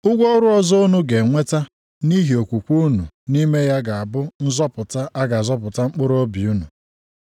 Ụgwọ ọrụ ọzọ unu ga-enweta nʼihi okwukwe unu nʼime ya ga-abụ nzọpụta a ga-azọpụta mkpụrụobi unu.